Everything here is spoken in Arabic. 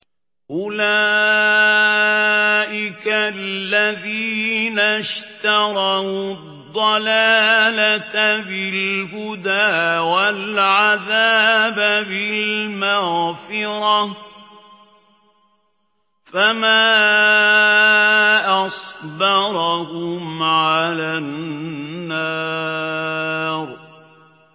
أُولَٰئِكَ الَّذِينَ اشْتَرَوُا الضَّلَالَةَ بِالْهُدَىٰ وَالْعَذَابَ بِالْمَغْفِرَةِ ۚ فَمَا أَصْبَرَهُمْ عَلَى النَّارِ